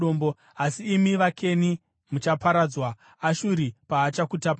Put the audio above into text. asi imi vaKeni muchaparadzwa, Ashuri paachakutapai.”